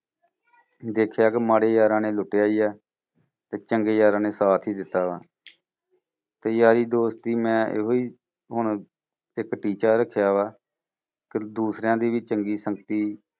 ਦੇਖਿਆ ਕਿ ਮਾੜੇ ਯਾਰਾਂ ਨੇ ਲੁੱਟਿਆ ਹੀ ਆ ਤੇ ਚੰਗੇ ਯਾਰਾਂ ਨੇ ਸਾਥ ਹੀ ਦਿੱਤਾ ਵਾ ਤੇ ਯਾਰੀ ਦੋਸਤੀ ਮੈਂ ਇਹੋ ਹੀ ਹੁਣ ਇੱਕ ਟੀੱਚਾ ਰੱਖਿਆ ਵਾ, ਕਿ ਦੂਸਰਿਆਂ ਦੀ ਵੀ ਚੰਗੀ ਸੰਗਤੀ